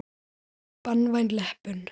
Banvæn leppun.